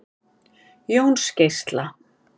Jónsgeisla